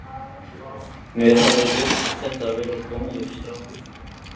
Mér hafði virst þetta vera góður strákur.